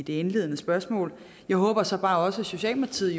indledende spørgsmål jeg håber så bare også at socialdemokratiet